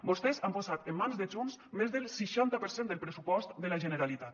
vostès han posat en mans de junts més del seixanta per cent del pressupost de la generalitat